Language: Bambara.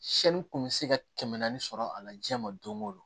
kun bɛ se ka kɛmɛ naani sɔrɔ a la diɲɛ ma don go don